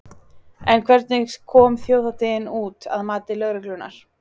En hvernig kom þjóðhátíðin út, að mati lögreglunnar?